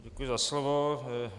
Děkuji za slovo.